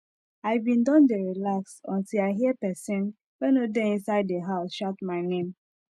i bin don dey relax until i hear person wey no dey inside the house shout my name